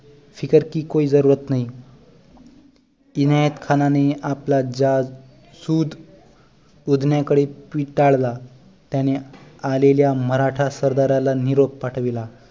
फिकर की कोई जरूरत नहीं इनायत खानाने आपला जासुद उधान्या कडे पिटाळला त्याने आलेल्या मराठा सरदाराला निरोप पाठविला